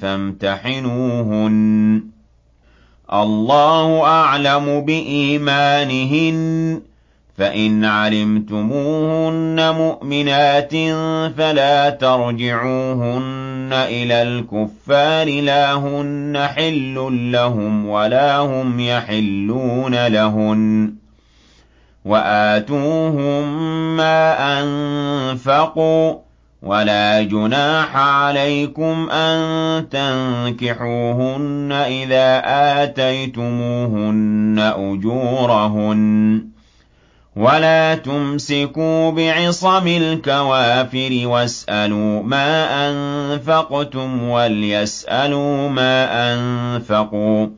فَامْتَحِنُوهُنَّ ۖ اللَّهُ أَعْلَمُ بِإِيمَانِهِنَّ ۖ فَإِنْ عَلِمْتُمُوهُنَّ مُؤْمِنَاتٍ فَلَا تَرْجِعُوهُنَّ إِلَى الْكُفَّارِ ۖ لَا هُنَّ حِلٌّ لَّهُمْ وَلَا هُمْ يَحِلُّونَ لَهُنَّ ۖ وَآتُوهُم مَّا أَنفَقُوا ۚ وَلَا جُنَاحَ عَلَيْكُمْ أَن تَنكِحُوهُنَّ إِذَا آتَيْتُمُوهُنَّ أُجُورَهُنَّ ۚ وَلَا تُمْسِكُوا بِعِصَمِ الْكَوَافِرِ وَاسْأَلُوا مَا أَنفَقْتُمْ وَلْيَسْأَلُوا مَا أَنفَقُوا ۚ